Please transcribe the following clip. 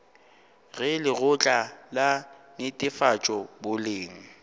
ge lekgotla la netefatšo boleng